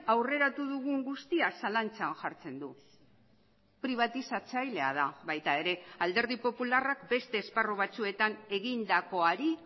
aurreratu dugun guztia zalantzan jartzen du pribatizatzailea da baita ere alderdi popularrak beste esparru batzuetan egindakoari